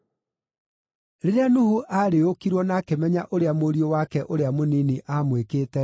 Rĩrĩa Nuhu aarĩĩũkirwo na akĩmenya ũrĩa mũriũ wake ũrĩa mũnini aamwĩkĩte-rĩ,